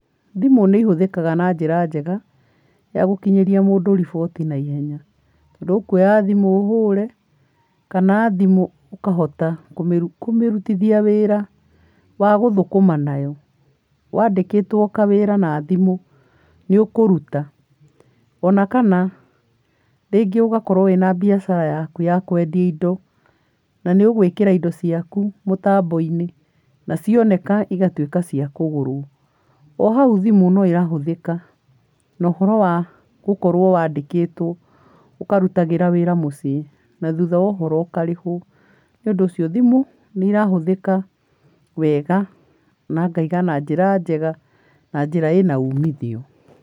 Thimũ nĩ ihũthĩkaga na njĩra njega, ya gũkinyĩria mũndũ riboti naihenya. Tondũ ũkuoya thimũ ũhũre, kana thimũ ũkahota kũmĩrutithia wĩra wa gũthũkũma nayo. Wandĩkĩtwo kawĩra na thimũ, nĩ ũkũruta. Ona kana rĩngĩ ũgakorwo na biacara yaku ya kwendia indo. Na nĩ ũgũikĩra indo ciaku mũtambo-inĩ na cioneka cigatuĩka cia kũgũrwo. Ohaũ thimũ nĩ irahũthĩka na ũhoro wa gũkorwo wandĩkĩtwo ũkarutĩra wĩra mũciĩ, na thutha wa ũhoro ũkarĩhwo. Nĩ ũndũ ũcio thimũ, nĩ irahũthĩka wega, na ngauga na njĩra njega na njĩra ĩna umithio.